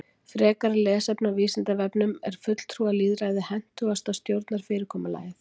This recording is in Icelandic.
Frekara lesefni á Vísindavefnum Er fulltrúalýðræði hentugasta stjórnarfyrirkomulagið?